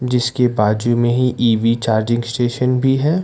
जिसके बाजू में ही ई_वी चार्जिंग स्टेशन भी है।